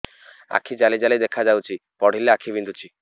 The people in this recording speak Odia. ଆଖି ଜାଲି ଜାଲି ଦେଖାଯାଉଛି ପଢିଲେ ଆଖି ବିନ୍ଧୁଛି